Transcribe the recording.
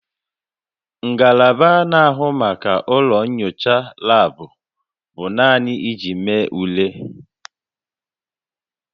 Ngalaba na-ahụ maka ụlọ nyocha laabụ bụ naanị iji mee ule